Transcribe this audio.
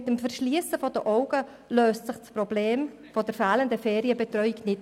Mit dem Verschliessen der Augen löst sich das Problem der fehlenden Ferienbetreuung nicht.